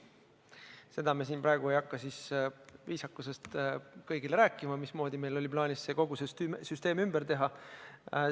Seda ma viisakusest ei hakka siin kõigile rääkima, mismoodi meil oli plaanis kogu see süsteem ümber teha.